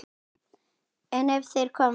En ef þeir koma aftur?